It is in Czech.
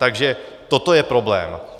Takže toto je problém.